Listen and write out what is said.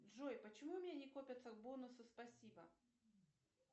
джой почему у меня не копятся бонусы спасибо